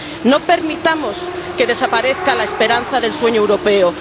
No permitamos que desaparezca la esperanza del sueño europeo.